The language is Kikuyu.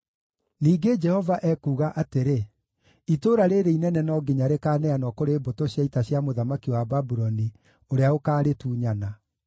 Ningĩ, Jehova ekuuga atĩrĩ: ‘Itũũra rĩĩrĩ inene no nginya rĩkaneanwo kũrĩ mbũtũ cia ita cia mũthamaki wa Babuloni, ũrĩa ũkaarĩtunyana.’ ”